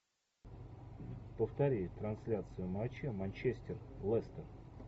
повтори трансляцию матча манчестер лестер